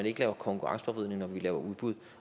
ikke laver konkurrenceforvridning når vi laver udbud